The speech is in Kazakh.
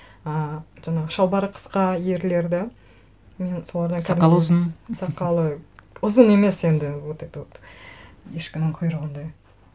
ыыы жаңағы шалбары қысқа ерлерді мен солардан кәдімгідей сақалы ұзын сақалы ұзын емес енді вот это вот ешкінің құйрығындай